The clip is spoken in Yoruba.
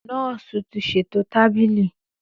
Nọọsi ti ṣeto tabili.